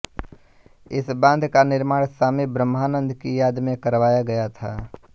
इस बांध का निर्माण स्वामी ब्रह्मानन्द की याद में करवाया गया था